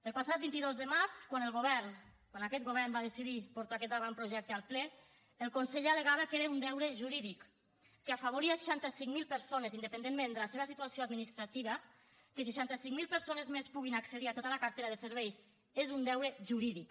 el passat vint dos de març quan el govern va decidir portar aquest avantprojecte al ple el conseller al·legava que era un deure jurídic que afavoria seixanta cinc mil persones independentment de la seva situació administrativa que seixanta cinc mil persones més que puguin accedir a tota la cartera de serveis és un deure jurídic